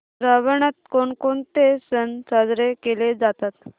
श्रावणात कोणकोणते सण साजरे केले जातात